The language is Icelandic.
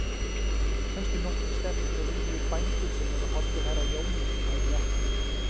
Kannski nokkrir sterkir og viljugir bændur sem eru hollir herra Jóni, aðrir ekki.